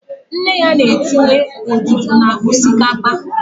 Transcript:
Nne ya na-etinye odudu na osikapa